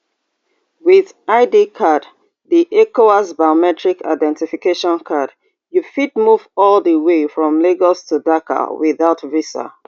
wit id card di ecowas biometric identification card you fit move all di way from lagos to dakar without visa